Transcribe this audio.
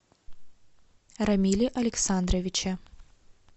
рамиле александровиче